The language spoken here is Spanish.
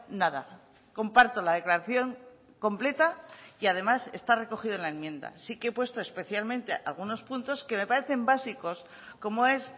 nada comparto la declaración completa y además está recogido en la enmienda sí que he puesto especialmente algunos puntos que me parecen básicos como es